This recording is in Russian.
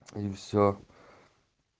и всё